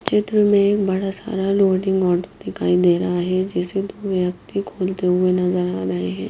चित्र में एक बड़ा सारा लोडिंग दिखाई दे रहा है जिसे दो व्यक्ति खोलते हुए नज़र आ रहे है।